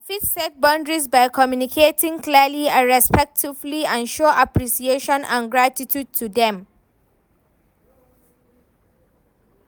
I fit set boundaries by communicating clearly and respectfully and show appreciation and gratitude to dem.